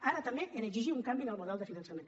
ara també a exigir un canvi en el model de finançament